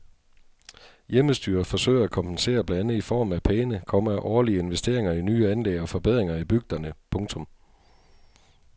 Hjemmestyret forsøger at kompensere blandt andet i form af pæne, komma årlige investeringer i nye anlæg og forbedringer i bygderne. punktum